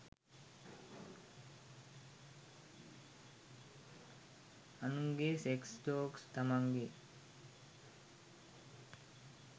අනුන්ගෙ sex jokes තමන්ගෙ